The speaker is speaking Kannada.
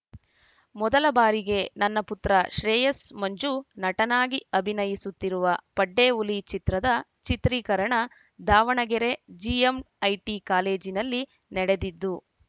ಮೊದಲ ಬಾರಿಗೆ ನನ್ನ ಪುತ್ರ ಶ್ರೇಯಸ್‌ ಮಂಜು ನಟನಾಗಿ ಅಭಿನಯಿಸುತ್ತಿರುವ ಪಡ್ಡೆ ಹುಲಿ ಚಿತ್ರದ ಚಿತ್ರೀಕರಣ ದಾವಣಗೆರೆ ಜಿಎಂಐಟಿ ಕಾಲೇಜಿನಲ್ಲಿ ನಡೆದಿದ್ದು